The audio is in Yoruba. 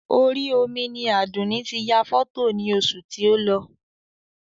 Orí omi ni Àdùnní ti yà fọ́tò ní oṣù tí o lọ